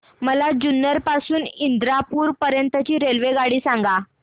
मला जुन्नर पासून तर इंदापूर पर्यंत ची रेल्वेगाडी सांगा